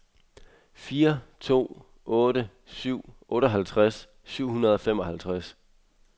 fire to otte syv otteoghalvtreds syv hundrede og femoghalvtreds